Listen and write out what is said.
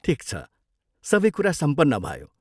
ठिक छ। सबै कुरा सम्पन्न भयो।